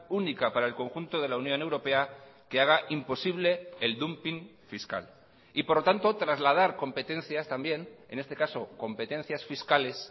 única para el conjunto de la unión europea que haga imposible el dumping fiscal y por lo tanto trasladar competencias también en este caso competencias fiscales